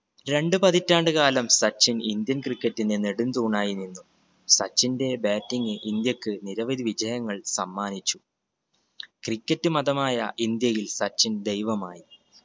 രണ്ടു പതിറ്റാണ്ട് കാലം സച്ചിൻ indian cricket ന്റെ നടും തൂണായി നിന്നു. സച്ചിന്റെ batting ഇന്ത്യക്ക് നിരവധി വിജയങ്ങൾ സമ്മാനിച്ചു cricket മതമായ ഇന്ത്യയിൽ സച്ചിൻ ദൈവമായി.